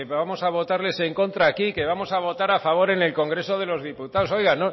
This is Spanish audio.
vamos a votarle en contra aquí que vamos a votar a favor en el congreso de los diputados oiga